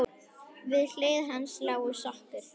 Við hlið hans lá sokkur.